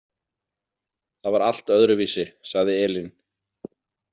Það var allt öðruvísi, sagði Elín.